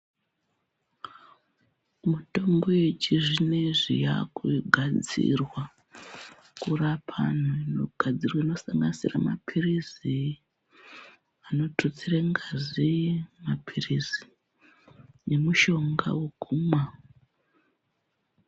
Mitombo yechizvinezvi yakugadzirwa kurapa antu yaakugadzirwa kusanganisira mapirizi anotutsire ngazi, maphirizi nemushonga wekumwa